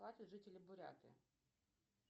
платят жителям буряты